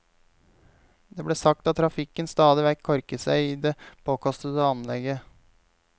Det ble sagt at trafikken stadig vekk korket seg i det påkostede anlegget.